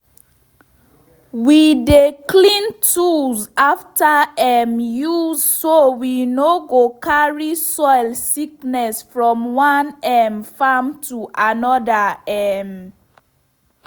we dey clean tools after um use so we no go carry soil sickness from one um farm to another. um